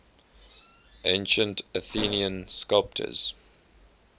ancient athenian sculptors